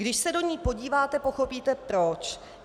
Když se do ní podíváte, pochopíte proč.